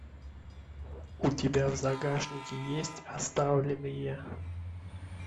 у тебя в загашнике есть оставленные